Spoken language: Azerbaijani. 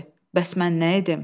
Bəs mən nə edim?